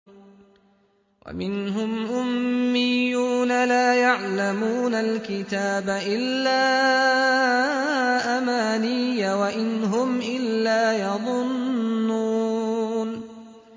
وَمِنْهُمْ أُمِّيُّونَ لَا يَعْلَمُونَ الْكِتَابَ إِلَّا أَمَانِيَّ وَإِنْ هُمْ إِلَّا يَظُنُّونَ